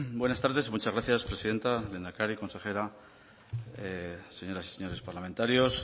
buenas tardes muchas gracias presidenta lehendakari consejera señoras y señores parlamentarios